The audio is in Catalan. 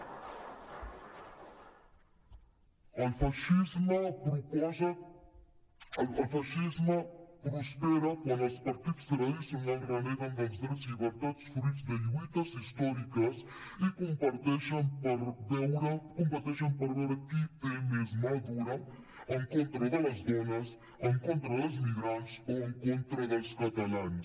el feixisme prospera quan els partits tradicionals reneguen dels drets i de les llibertats fruit de lluites històriques i competeixen per veure qui té més mà dura en contra de les dones en contra dels migrants o en contra dels catalans